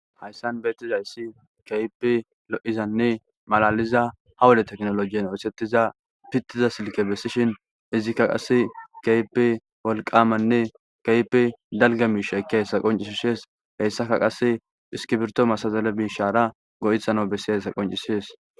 hayssan beettizayssi kaype lo7izanne malaliza ha wole teknolojiyen oosettiza pittiza silke bessishin izikka qasse keipe wolqamanne kayipe dalga miisha kahessa qoncisishees heyssaka qase hiskibirto masazale miishara go7ithano bessihessa qoncishees